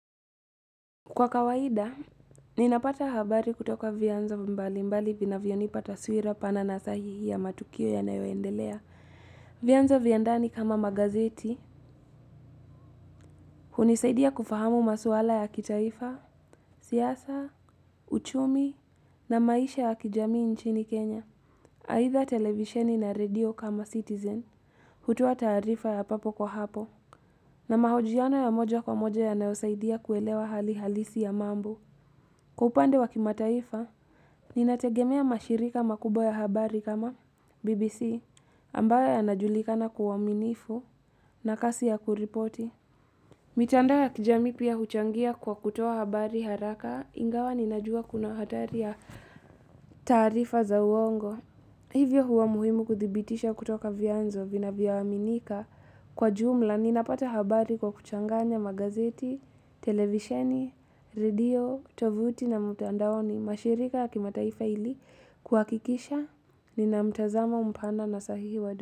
Kwa kawaida, ninapata habari kutoka vyanzo mbali mbali vinavyonipa taswira pana na sahihi ya matukio ya nayoendelea. Vyanzo vya ndani kama magazeti, hunisaidia kufahamu maswala ya kitaifa, siasa, uchumi na maisha ya kijamii nchini Kenya. Aidha televisheni na radio kama citizen, hutoa taarifa ya papo kwa hapo, na mahojiano ya moja kwa moja yanayosaidia kuelewa hali halisi ya mambo. Kwa upande wa kimataifa, ninategemea mashirika makubwa ya habari kama BBC ambaye yanajulikana kwa uaminifu na kasi ya kuripoti. Mitandao ya kijami pia huchangia kwa kutuoa habari haraka ingawa ninajua kuna hatari ya taarifa za uongo. Hivyo huwa muhimu kuthibitisha kutoka vyanzo vinavyoaminika kwa jumla ninapata habari kwa kuchanganya magazeti, televisheni, radio, tovuti na mitandaoni mashirika ya kimataifa ili kuhakikisha nina mtazamo mpana na sahihi wadu.